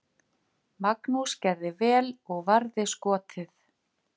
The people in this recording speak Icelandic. Magnús gerði vel og varði skotið.